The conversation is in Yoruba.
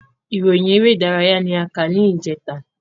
Ìròyìn eré ìdárayá ni a kà ní ìjẹta